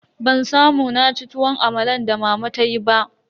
Ban samu naci tuwon amalan da mama tayi ba.